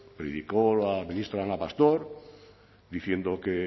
predicó la ministra ana pastor diciendo que